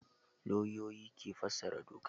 Lauyoyi ke fassara doka.